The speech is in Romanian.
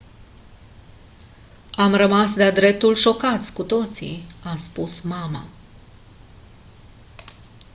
am rămas de-a dreptul șocați cu toții a spus mama